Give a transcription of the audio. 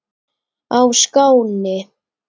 á Skáni.